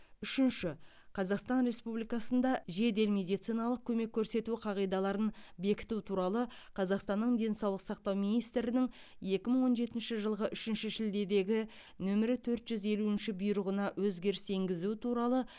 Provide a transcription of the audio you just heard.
үшінші қазақстан республикасында жедел медициналық көмек көрсету қағидаларын бекіту туралы қазақстанның денсаулық сақтау министрінің екі мың он жетінші жылғы үшінші шілдедегі нөмірі төрт жүз елуінші бұйрығына өзгеріс енгізу туралы